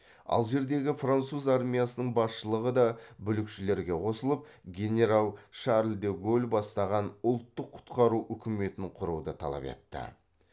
алжирдегі француз армиясының басшылығы да бүлікшілерге қосылып генерал шарль де голль бастаған ұлттық құтқару үкіметін құруды талап етті